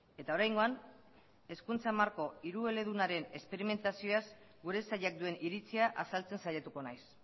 eta oraingoan hizkuntza marko hirueledunaren esperimentazioaz gure sailak duen iritzia azaltzen saiatuko naiz